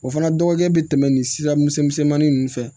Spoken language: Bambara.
O fana dɔgɔkɛ bɛ tɛmɛ nin sira misɛn misɛnmanin ninnu fɛ